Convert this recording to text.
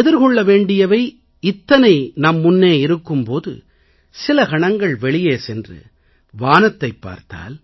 நாம் எதிர்கொள்ள வேண்டியவை இத்தனை நம் முன்னே இருக்கும் போது சில கணங்கள் வெளியே சென்று வானத்தைப் பார்த்தால்